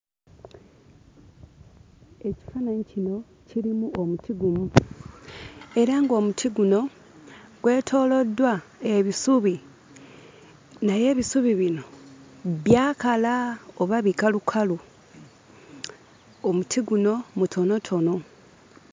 Ekifaananyi kino kirimu omuti gumu era ng'omuti guno gwetooloddwa ebisubi naye ebisubi bino byakala oba bikalukalu. Omuti guno mutonotono.